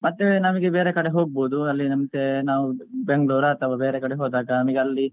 ಮತ್ತೆ ನಮಗೆ ಬೇರೆ ಕಡೆ ಹೋಗ್ಬಹುದು ಅಲ್ಲಿ ಮತ್ತೆ ನಾವ್ Bangalore ಅಥವಾ ಬೇರೆ ಕಡೆ ಹೋದಾಗ ನಮಿಗೆ ಅಲ್ಲಿ